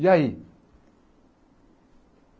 E aí?